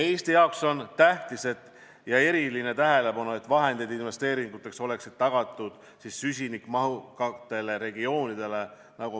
Eestile on tähtis see ja me pöörame erilist tähelepanu sellele, et süsinikumahukatele regioonidele oleksid tagatud vahendid investeeringuteks.